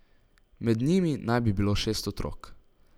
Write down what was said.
Med njimi naj bi bilo šest otrok.